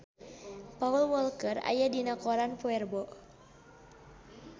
Paul Walker aya dina koran poe Rebo